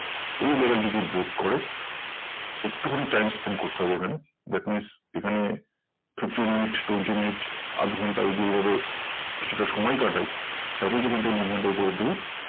এই level যদি break করে একটু খানি time spend করতে হবে এখানে that means এখানে fifteen মিনিট twenty মিনিট আধ ঘন্টা কিছুটা সময় কাটায় তারপরেই কিন্তু movement এর উপরের দিকে